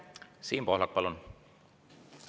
Siim Pohlak, palun!